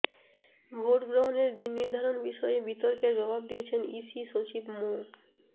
vote গ্রহণের দিন নির্ধারণ বিষয়ে বিতর্কের জবাব দিয়েছেন ইসি সচিব মো